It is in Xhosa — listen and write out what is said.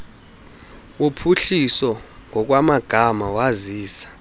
wophuhliso ngokwamagama wazisa